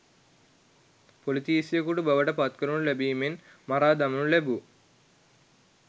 පොලිතීසියකු බවට පත්කරනු ලැබීමෙන් මරාදමනු ලැබූ